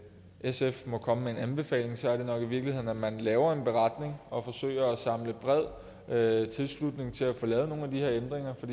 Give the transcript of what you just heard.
sf må komme med en anbefaling så er det nok i virkeligheden at man laver en beretning og forsøger at samle bred tilslutning til at få lavet nogle af de her ændringer for